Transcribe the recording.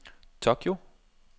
Tokyo